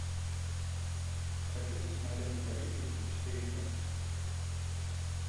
хочу посмотреть правительство четыре ка